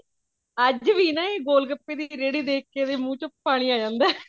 ਅੱਜ ਵੀ ਨਾ ਇਹ ਗੋਲ ਗੱਪੇ ਦੀ ਰੇਹੜੀ ਦੇਖ ਕੇ ਇਹਦੇ ਮੂਹ ਚੋ ਪਾਣੀ ਆ ਜਾਂਦਾ ਹੈ